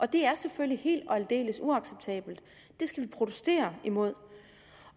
det er selvfølgelig helt og aldeles uacceptabelt det skal vi protestere imod